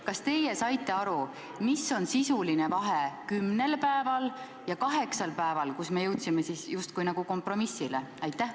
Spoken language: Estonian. Kas teie saite aru, mis sisuline vahe on kümnel ja kaheksal päeval, mille juures me justkui jõudsime kompromissile?